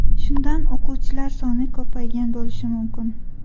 Shundan o‘quvchilar soni ko‘paygan bo‘lishi mumkin.